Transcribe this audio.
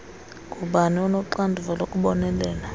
ngubani onoxanduva lokubonelela